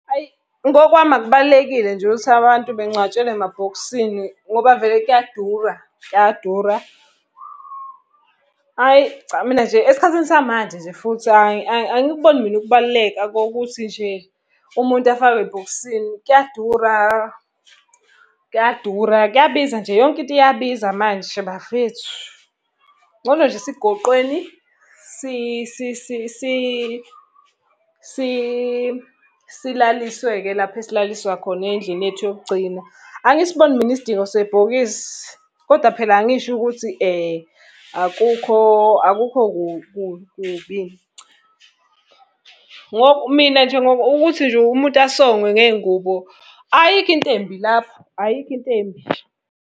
Hhayi ngokwami akubalulekile nje ukuthi abantu bengcwatshelwe emabhokisini ngoba vele kuyadura kuyadura. Hhayi cha mina nje esikhathini samanje nje futhi angikuboni mina ukubaluleka kokuthi nje umuntu afakwe ebhokisini, kuyadura kuyadura, kuyabiza nje, yonke into iyabiza manje bafethu. Ngcono nje sigoqweni silaliswe-ke lapho esilaliswa khona endlini yethu yokugcina. Angisiboni mina isidingo sebhokisi, kodwa phela angisho ukuthi akukho akukho kubi. Mina nje ukuthi nje umuntu asongwe ngey'ngubo, ayikho into embi lapho ayikho into embi.